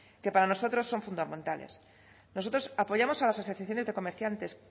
que para nosotros son fundamentales nosotros apoyamos a las asociaciones de comerciantes